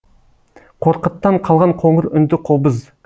қорқыттан қалған қоңыр үнді қобыз